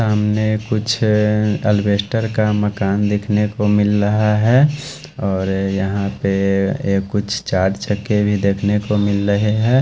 हमने कुछ अलवेस्टर का मकान देखने को मिल रहा है और यहाँ पे ये कुछ चार छके भी देखने को मिल रहे है।